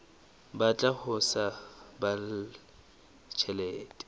batla ho sa baballe tjhelete